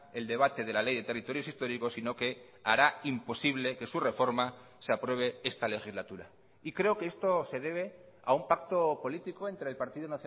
el debate de la ley de territorios históricos sino que hará imposible que su reforma se apruebe esta legislatura y creo que esto se debe a un pacto político entre el partido